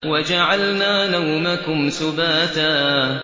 وَجَعَلْنَا نَوْمَكُمْ سُبَاتًا